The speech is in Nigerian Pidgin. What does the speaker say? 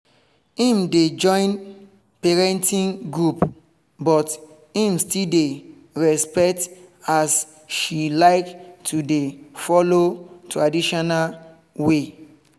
im dey join parenting group but im still dey respect as she like to dey follow traditional way